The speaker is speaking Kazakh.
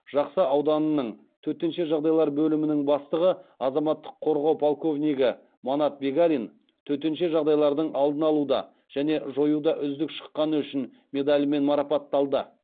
жақсы ауданының төтенше жағдайлар бөлімінің бастығы азаматтық қорғау подполковнигі манат бегалин төтенше жағдайлардың алдын алуда және жоюда үздік шыққаны үшін медалімен марапатталды